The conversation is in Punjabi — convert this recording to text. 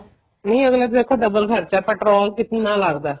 ਨੀ ਅੱਗਲਾ ਦੇਖੋ double ਖਰਚਾ petrol ਕਿਤਨਾ ਲੱਗਦਾ